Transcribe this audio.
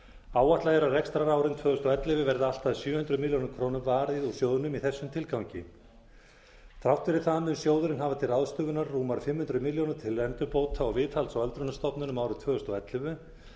áætlað er að á rekstrarárinu tvö þúsund og ellefu verði allt að sjö hundruð milljóna króna varið úr sjóðnum í þessum tilgangi þrátt fyrri það mun sjóðurinn hafa til ráðstöfunar rúmar fimm hundruð milljónir til endurbóta og viðhalds á öldrunarstofnunum árið tvö þúsund og ellefu